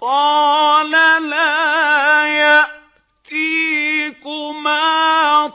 قَالَ لَا يَأْتِيكُمَا